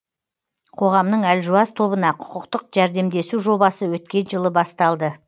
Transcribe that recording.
қоғамның әлжуаз тобына құқықтық жәрдемдесу жобасы өткен жылы басталды